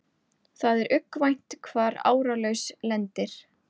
Það er uggvænt hvar áralaus lendir.